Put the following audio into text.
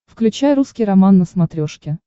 включай русский роман на смотрешке